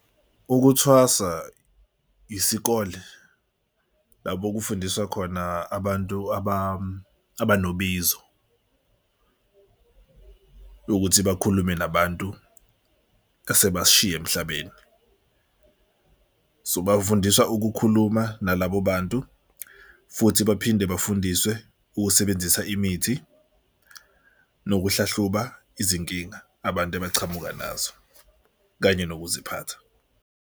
Ukuthwasa isikole lapho okufundiswa khona abantu abanobizo ukuthi bakhulume nabantu asebasishiya emhlabeni. So bafundiswa ukukhuluma nalabo bantu futhi baphinde bafundiswe ukusebenzisa imithi nokuhlahluba izinkinga, abantu abachamuka nazo kanye nokuziphatha.